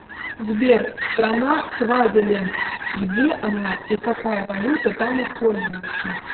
сбер страна свазиленд где она и какая валюта там используется